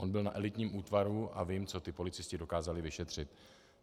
On byl na elitním útvaru a vím, co ti policisté dokázali vyšetřit.